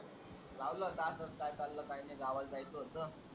लावला होता असाच काय चाललंय काय नाही गावाला जायचं होत.